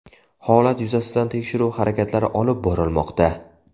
Holat yuzasidan tekshiruv harakatlari olib borilmoqda.